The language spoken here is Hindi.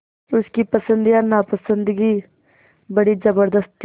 उसकी पसंद या नापसंदगी बड़ी ज़बरदस्त थी